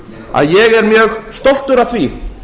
að ég er mjög stoltur af því